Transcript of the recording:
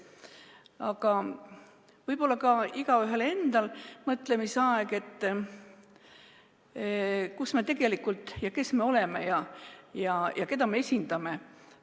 Aga võib-olla on see olnud ka igaühe enda mõtlemisaeg: kus ja kes me tegelikult oleme ning keda esindame?